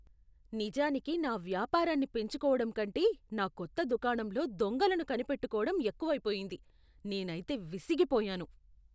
నిజానికి నా వ్యాపారాన్ని పెంచుకోవడం కంటే నా కొత్త దుకాణంలో దొంగలను కనిపెట్టుకోటం ఎక్కువైపోయింది. నేనైతే విసిగిపోయాను.